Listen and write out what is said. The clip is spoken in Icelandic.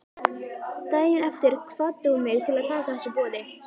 Daginn eftir hvatti hún mig til að taka þessu boði.